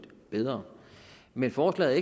bedre men forslaget